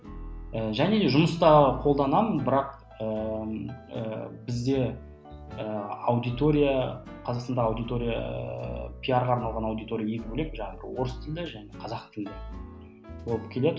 және жұмыста қолданамын бірақ ыыы бізде ы аудитория қазақстанда аудитория пиарға арналған аудитория екі болек жаңағы орыс тілінде және қазақ тілінде болып келеді